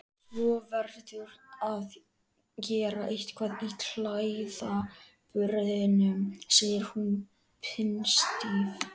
Svo verðurðu að gera eitthvað í klæðaburðinum, segir hún pinnstíf.